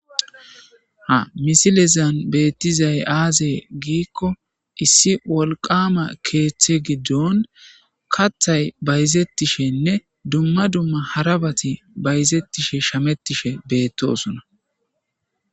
Ha misilezan beettizay aaze giikko issi wolqama keeththe giddon kathay bayzettishenne dumma dumma harabati bayzettishe shamettishe bettosuna